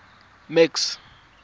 max